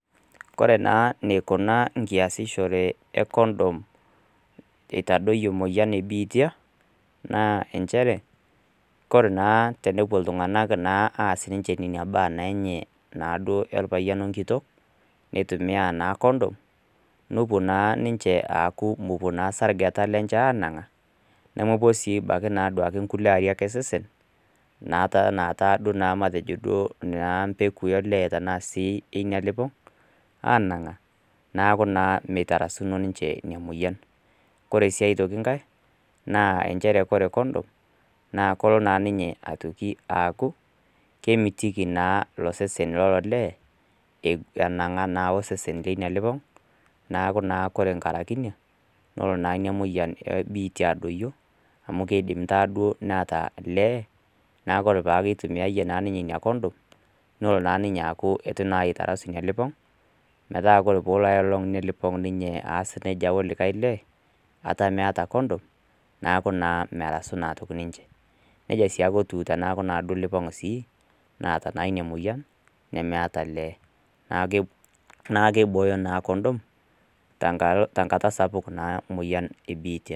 Ore naa eneikuna naa easishore naa e condom eitadoiyo emoyian e biitia, naa nchere, ore naa tenepuo naa iltung'ana aas naa ina baa naa enye naaduo olpayian we enkitok, neitumiya naa condom, nepuo naa aaku mepuo naa isargeta lenye aanang'a, nemepuo naa sii duo ebaiki inkulie arik osesen naa teina kata naa duo naa impekui naa sii olee we ina elipong' aanang'a, neaku naa meitarasakino naa ninche ina moyian. Ore sii aitoki enkai, naa nchere kore condom, naa kelo naa ninye aitoki aaku, kemitiki naa ilo sesen naa lo olee, enang'a naa wo osesen naa leina lipong' , neaku naa ore enkaraiki ina, nelo naa ina moyian e biitia adoiyo amu kkiedim taa duo neata olee neaku naakeyie peitumiyaiye naa ninye ina condom, neaku eitu naa eitarasaki elipong', metaa ore ake ninye elipong' nelo aikata aas neija o likai lee, ata meata condom, neaku naa merasu toki sii ninche. Niaja naake etiu teneaku naake ilipong'a sii, naata naa ina moyian, nemeat olee, naa keibooyop naa condom tenkata sapuk naa emoyian e biitia.